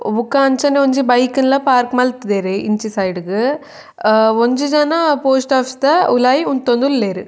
ಬೊಕ ಅಂಚನೆ ಒಂಜಿ ಬೈಕ್ ನ್ಲ ಪಾರ್ಕ್ ಮಲ್ತುದೆರ್ ಇಂಚಿ ಸೈಡ್ ಗ್ ಒಂಜಿ ಜನ ಪೋಸ್ಟ್ ಒಫೀಸ್ ದ ಉಲಾಯಿ ಉಂತೊಂದುಲ್ಲೆರ್.